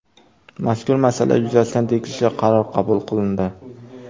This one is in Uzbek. Mazkur masala yuzasidan tegishli qaror qabul qilindi.